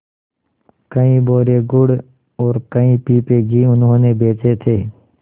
कई बोरे गुड़ और कई पीपे घी उन्होंने बेचे थे